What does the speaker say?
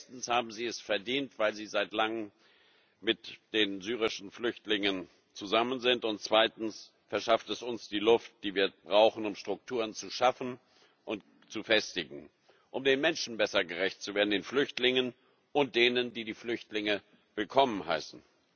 Erstens haben sie es verdient, weil sie seit langem mit den syrischen Flüchtlingen zusammen sind, und zweitens verschafft es uns die Luft, die wir brauchen, um Strukturen zu schaffen und zu festigen, um den Menschen besser gerecht zu werden den Flüchtlingen, und denen, die die Flüchtlinge willkommen heißen.